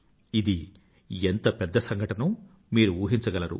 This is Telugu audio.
ఇది ఎంత పెద్ద సంఘటనో మీరు ఊహించగలరు